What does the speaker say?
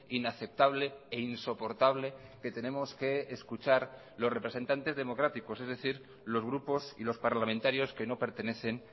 inaceptable e insoportable que tenemos que escuchar los representantes democráticos es decir los grupos y los parlamentarios que no pertenecen